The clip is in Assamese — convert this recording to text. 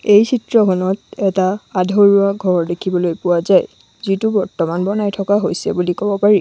এই চিত্ৰখনত এটা আধৰুৱা ঘৰ দেখিবলৈ পোৱা যায় যিটো বৰ্তমান বনাই থকা হৈছে বুলি কব পাৰি।